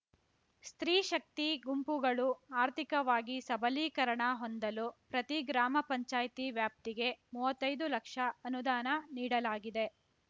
ಸ್ತ್ರೀಶಕ್ತಿ ಗುಂಪುಗಳು ಆರ್ಥಿಕವಾಗಿ ಸಬಲೀಕರಣ ಹೊಂದಲು ಪ್ರತಿ ಗ್ರಾಮ ಪಂಚಾಯ್ತಿ ವ್ಯಾಪ್ತಿಗೆ ಮುವತ್ತೈದು ಲಕ್ಷ ಅನುದಾನ ನೀಡಲಾಗಿದೆ